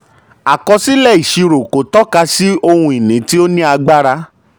àkọsílẹ̀ ìṣirò kò tọ́ka sí ohun-ini tí ó ní agbára.